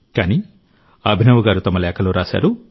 కానీ అభినవ్ గారు తమ లేఖలో రాశారు